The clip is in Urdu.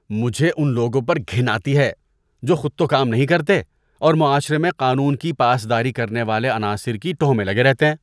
مجھے ان لوگوں پر گھن آتی ہے جو خود تو کام نہیں کرتے اور معاشرے میں قانون کی پاس داری کرنے والے عناصر کی ٹوہ میں لگے رہتے ہیں۔